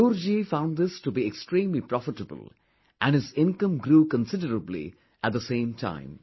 Manzoor Ji found this to be extremely profitable and his income grew considerably at the same time